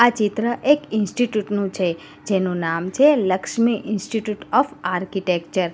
આ ચિત્ર એક ઇન્સ્ટિટ્યૂટ નું છે જેનું નામ છે લક્ષ્મી ઇન્સ્ટિટયૂટ ઓફ આર્કિટેક્ચર .